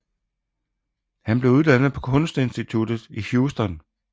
Han blev uddannet på Kunst Instituttet i Houston